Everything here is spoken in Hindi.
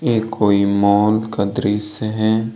यह कोई मॉल का दृश्य है।